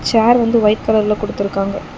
‌ Chair வந்து white கலர்ல குடுத்திருக்காங்க.